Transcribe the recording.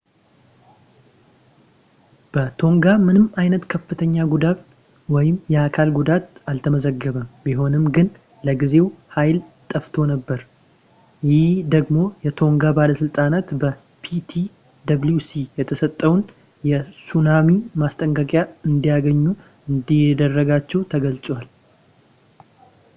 በቶንጋ ምንም ዓይነት ከፍተኛ ጉዳት ወይም የአካል ጉዳት አልተዘገበም ቢሆንም ግን ለጊዜው ኃይል ጠፍቶ ነብር ይህም ደግሞ የቶንጋ ባለሥልጣናት በ ptwc የተሰጠውን የሱናሚ ማስጠንቀቂያ እንዳያገኙ እንዳደረጋቸው ተገልጿል